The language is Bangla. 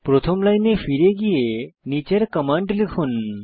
প্রথম লাইনে ফিরে গিয়ে নীচের কমান্ড লিখুন